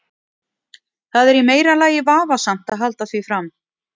Það er í meira lagi vafasamt að halda því fram.